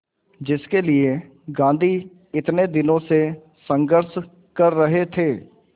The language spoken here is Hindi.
जिसके लिए गांधी इतने दिनों से संघर्ष कर रहे थे